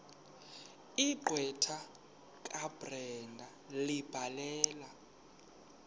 gqwetha kabrenda ebhalela